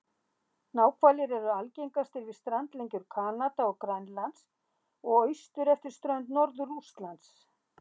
Náhvalir eru algengastir við strandlengjur Kanada og Grænlands og austur eftir strönd Norður-Rússlands.